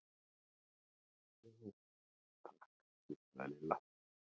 Já, takk hvíslaði Lilla.